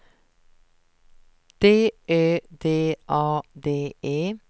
D Ö D A D E